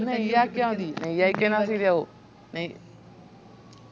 അത് നെയ് ആക്കിയ മതി നെയ് ആയികയിഞ്ഞ ശെരിയാവും നെയ്